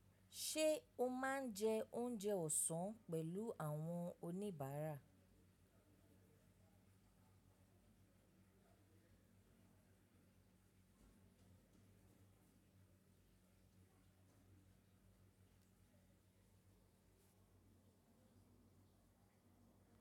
Ṣé o máa ń jẹ oúnjẹ ọ̀sán pẹ̀lú àwọn oníbàárà?